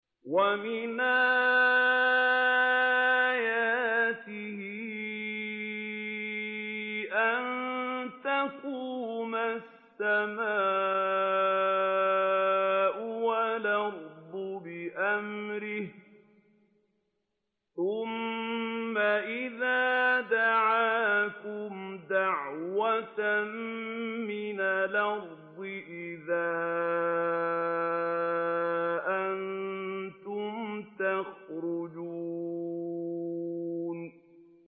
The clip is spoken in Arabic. وَمِنْ آيَاتِهِ أَن تَقُومَ السَّمَاءُ وَالْأَرْضُ بِأَمْرِهِ ۚ ثُمَّ إِذَا دَعَاكُمْ دَعْوَةً مِّنَ الْأَرْضِ إِذَا أَنتُمْ تَخْرُجُونَ